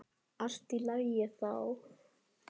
Allt í lagi þá.